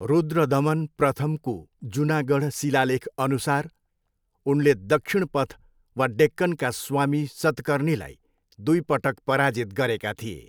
रुद्रदमन प्रथमको जुनागढ शिलालेखअनुसार उनले दक्षिणपथ वा डेक्कनका स्वामी सतकर्नीलाई दुई पटक पराजित गरेका थिए।